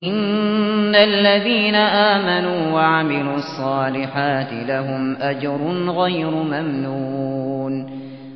إِنَّ الَّذِينَ آمَنُوا وَعَمِلُوا الصَّالِحَاتِ لَهُمْ أَجْرٌ غَيْرُ مَمْنُونٍ